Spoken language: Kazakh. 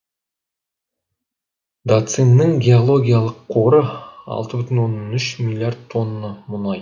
дацинның геологиялық қоры алты бүтін оннан үш миллиард тонна мұнай